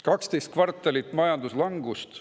12 kvartalit majanduslangust.